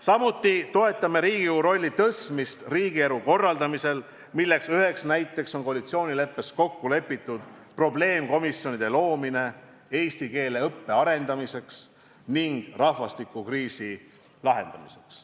Samuti toetame Riigikogu suuremat rolli riigielu korraldamisel, mille üheks näiteks on koalitsioonileppes kokku lepitud probleemkomisjonide loomine eesti keele õppe arendamiseks ning rahvastikukriisi lahendamiseks.